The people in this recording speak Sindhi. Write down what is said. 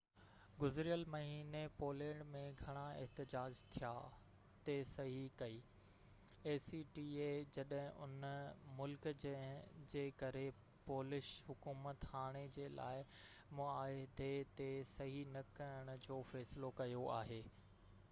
گذريل مهيني پولينڊ ۾ گهڻا احتجاج ٿيا جڏهن ان ملڪ acta تي صحي ڪئي جنهن جي ڪري پولش حڪومت هاڻي جي لاءِ معاهدي تي صحي نہ ڪرڻ جو فيصلو ڪيو آهي